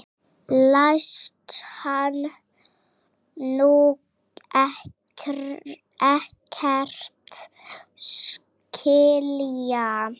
Læst hann nú ekkert skilja?